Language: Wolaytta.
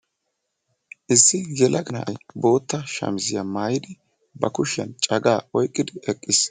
issi yelaga na'ay bootta shamizziyaa maayyidi ba kushiyaan caga oyqqidi eqqiis.